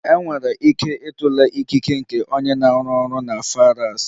Enwere ike ịtụle ikike nke onye na-arụ ọrụ na Farads.